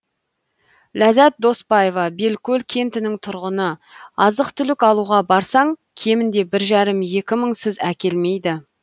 ләззат доспаева белкөл кентінің тұрғыны азық түлік алуға барсаң кемінде бір жарым екі мыңсыз әкелмейді